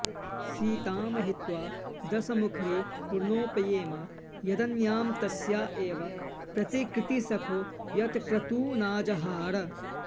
सीतां हित्वा दशमुखरिपुर्नोपयेम यदन्यां तस्या एव प्रतिकृतिसखो यत्क्रतूनाजहार